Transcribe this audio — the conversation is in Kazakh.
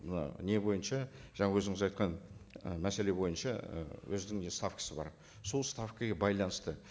мына не бойынша жаңа өзіңіз айтқан і мәселе бойынша і өзінің не ставкасы бар сол ставкіге байланысты